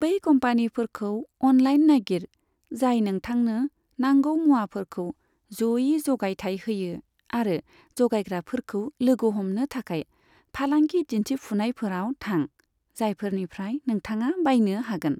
बै कम्पानिफोरखौ अनलाइन नागिर, जाय नोंथांनो नांगौ मुवाफोरखौ ज'यै जगायथाइ होयो आरो जगायग्राफोरखौ लोगो हमनो थाखाय फालांगि दिन्थिफुनायफोराव थां, जायफोरनिफ्राय नोंथाङा बायनो हागोन।